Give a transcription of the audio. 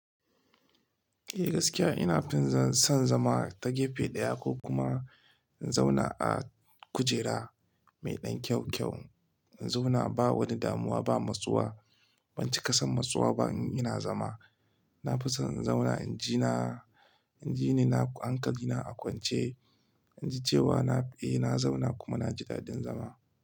Eh gaskiya ina tunzan son zama ta gefe ɗaya ko kuma in zauna a kujera mai ɗan kyaukyau. In zauna ba wani damuwa ba, matsuwa. Ban cika son matsuwa ba in ina zama. Na fi son in zauna inji na, inji ni na hankali na a kwance. In ji cewa na, eh na zauna kuma na ji daɗin zama.